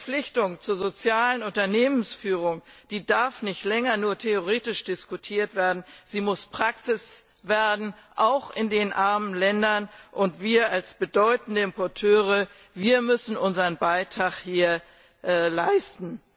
Die Verpflichtung zur sozialen Unternehmensführung darf nicht länger nur theoretisch diskutiert werden, sie muss Praxis werden auch in den armen Ländern, und wir als bedeutende Importeure müssen unseren Beitrag hier leisten.